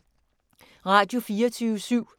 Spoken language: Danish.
Radio24syv